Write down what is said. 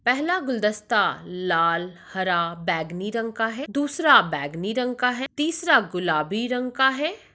पहला गुलदस्ता लाल हरा बैगनी रंग का है। दूसरा बैगनी रंग का है तीसरा गुलाबी रंग है।